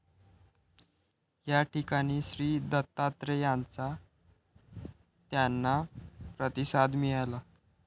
या ठिकाणी श्रीदत्तात्रेयांचा त्यांना प्रतिसाद मिळाला.